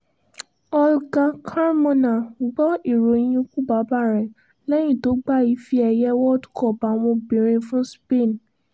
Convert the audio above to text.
olga carmona gbọ́ ìròyìn ikú bàbá rẹ̀ lẹ́yìn tó gba ife ẹ̀yẹ world cup àwọn obìnrin fún spain